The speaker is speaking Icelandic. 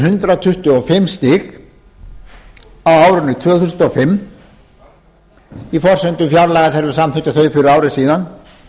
hundrað tuttugu og fimm stig á árinu tvö þúsund og fimm í forsendum fjárlaga þegar við samþykktum þau fyrir ári síðan